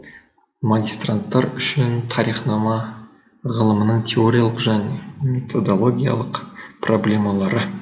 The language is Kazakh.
магистранттар үшін тарихнама ғылымының теориялық және методологиялық проблемалары